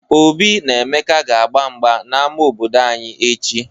Obi na Emeka ga-gba mgba n'ama obodo anyị echi.